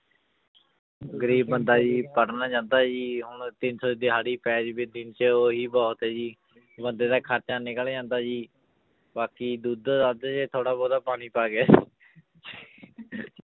ਗ਼ਰੀਬ ਬੰਦਾ ਜੀ ਪੜ੍ਹਨ ਜਾਂਦਾ ਜੀ ਹੁਣ ਤਿੰਨ ਸੌ ਦਿਹਾੜੀ ਪੈ ਜਾਵੇ ਦਿਨ 'ਚ ਉਹੀ ਬਹੁਤ ਹੈ ਜੀ ਬੰਦਾ ਦਾ ਖ਼ਰਚਾ ਨਿਕਲ ਜਾਂਦਾ ਜੀ ਬਾਕੀ ਦੁੱਧ ਦੱਧ 'ਚ ਥੋੜ੍ਹਾ ਬਹੁਤਾ ਪਾਣੀ ਪਾ ਕੇ